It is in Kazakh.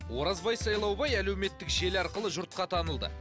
оразбай сайлаубай әлеуметтік желі арқылы жұртқа танылды